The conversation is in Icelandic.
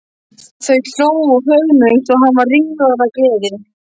Þau hlógu og föðmuðust og hann var ringlaður af gleði.